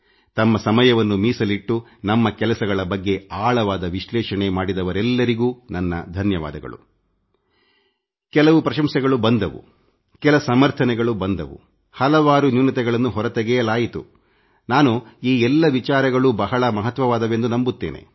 ತಮ್ಮ ಸಮಯವನ್ನು ಮೀಸಲಿಟ್ಟು ನಮ್ಮ ಕೆಲಸಗಳ ಬಗ್ಗೆ ಆಳವಾದ ವಿಶ್ಲೇಷಣೆ ಮಾಡಿದವರೆಲ್ಲರಿಗೂ ನನ್ನ ಧನ್ಯವಾದಗಳು ಕೆಲವು ಪ್ರಶಂಸೆಗಳು ಬಂದವು ಕೆಲ ಸಮರ್ಥನೆಗಳು ಬಂದವು ಹಲವಾರು ನ್ಯೂನತೆಗಳನ್ನು ಹೊರತೆಗೆಯಲಾಯಿತು ನಾನು ಈ ಎಲ್ಲ ವಿಚಾರಗಳೂ ಬಹಳ ಮಹತ್ವವಾದುವುಗಳೆಂದು ನಂಬುತ್ತೇನೆ